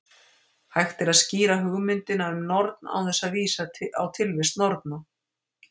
Hægt er að skýra hugmyndina um norn án þess að vísa á tilvist norna.